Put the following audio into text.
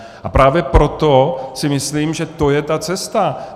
A právě proto si myslím, že to je ta cesta.